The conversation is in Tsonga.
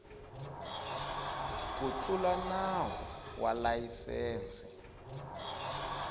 ku tlula nawu wa layisense